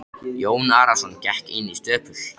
Jón Arason gekk inn í stöpul.